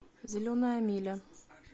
зеленая миля